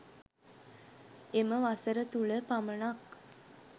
එම වසර තුල පමනක්